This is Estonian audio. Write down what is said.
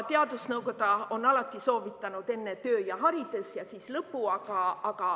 Teadusnõukoda on alati soovitanud, et enne töö ja haridus ja siis lõbu.